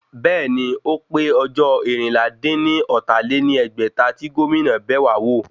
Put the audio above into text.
Bẹ́ẹ̀ni, ó pé ọjọ́ eérinlá-dín-ní-ọ́ta lé ní ẹgbẹ́ta tí Gómìnà bẹ̀wá wò